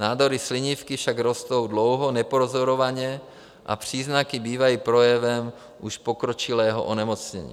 Nádory slinivky však rostou dlouho nepozorovaně a příznaky bývají projevem už pokročilého onemocnění.